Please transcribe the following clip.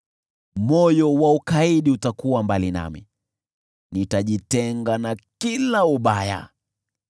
Moyo wa ukaidi utakuwa mbali nami; nitajitenga na kila ubaya.